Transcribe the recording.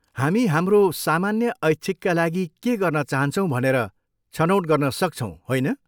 हामी हाम्रो सामान्य ऐच्छिकका लागि के गर्न चाहन्छौँ भनेर छनौट गर्न सक्छौँ, होइन?